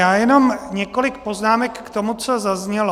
Já jenom několik poznámek k tomu, co zaznělo.